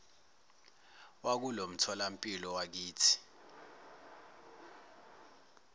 wakulo mtholampilo wakithi